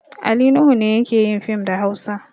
Ali Nuhu ne yake yin fim da Hausa.